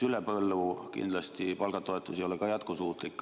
Üle põllu palgatoetus kindlasti ei ole jätkusuutlik.